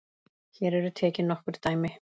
Hér eru tekin nokkur dæmi